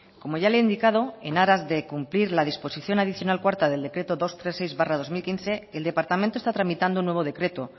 como ya le he indicado en aras de cumplir la disposición adicional cuarta del decreto doscientos treinta y seis barra dos mil quince el departamento tramitando un nuevo decreto